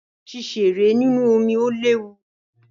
Ṣíṣeré nínú omí o léwu.